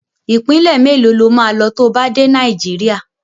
Ìpínlẹ̀ mélòó lo máa lọ to bá dé Nàìjíríà?